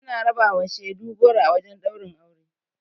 Ana rabawa shaidu goro a wajen ɗaurin aure.